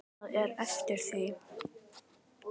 Annað er eftir því.